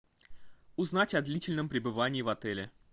узнать о длительном пребывании в отеле